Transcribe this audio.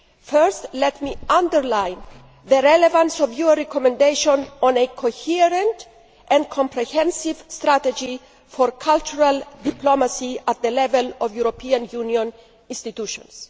Firstly, let me underline the relevance of your recommendation on a coherent and comprehensive strategy for cultural diplomacy at the level of the EU institutions.